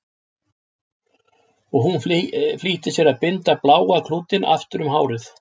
Og hún flýtti sér að binda bláa klútinn aftur um hárið.